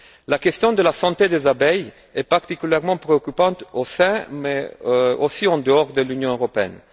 La question de la santé des abeilles est particulièrement préoccupante au sein mais également en dehors de l'Union européenne.